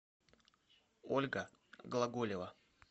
ольга глаголева